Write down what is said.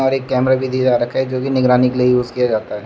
एक कैमरा भी दिख रहा है जो की निगरानी के लिए यूज किया जाता है।